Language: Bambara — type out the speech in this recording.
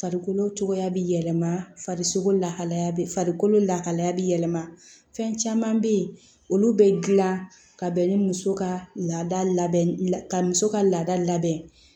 Farikolo cogoya bɛ yɛlɛma farisogo lahalaya bɛ farikolo lahaliya bɛ yɛlɛma fɛn caman bɛ yen olu bɛ dilan ka bɛn ni muso ka laada labɛn ka muso ka laada labɛn